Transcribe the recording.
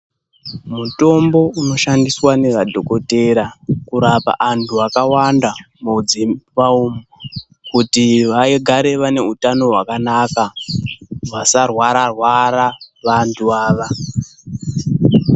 Mutombo unoshandiswa nemadhokodheya kurapa antu akawanda mudzimba umu kuti vagare vane utano hwakanaka, vasarwara -rwara vantu ava.